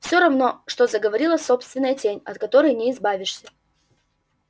все равно что заговорила собственная тень от которой не избавишься